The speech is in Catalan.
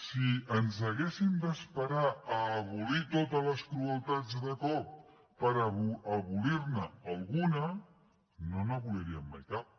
si ens haguéssim d’esperar a abolir totes les crueltats de cop per abolir ne alguna no n’aboliríem mai cap